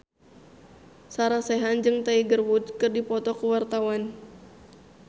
Sarah Sechan jeung Tiger Wood keur dipoto ku wartawan